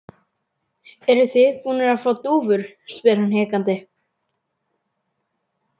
Eruð þið búnir að fá dúfur? spyr hann hikandi.